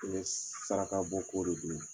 saraka bɔ ko de don